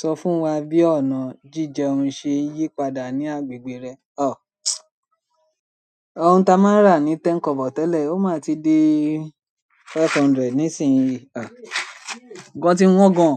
Sọ fún wa bí ọ̀nà jíjẹun ṣe yí padà ní agbègbè rẹ. Òun ta máa ń rà ní ten kobo tẹ́lẹ̀, ó máa ti dé five hundred nísìnyí. Nǹkan ti wọ́n gan-an,